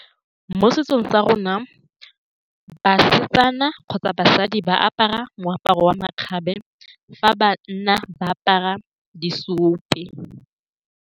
Mo setsong sa rona, basetsana kgotsa basadi ba apara moaparo wa makgabe fa ba nna. Ba apara di ope.